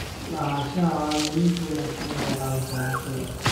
Lahaanshaha caadooyinka wanaagsan waxay caawisaa bulshada.